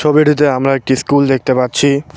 ছবিটিতে আমরা একটি স্কুল দেখতে পাচ্ছি।